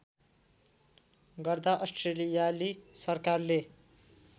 गर्दा अस्ट्रेलियाली सरकारले